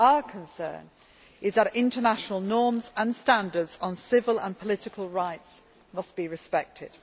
Our concern is that international norms and standards on civil and political rights must be respected.